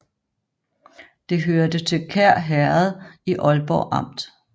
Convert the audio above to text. Det hørte til Kær Herred i Ålborg Amt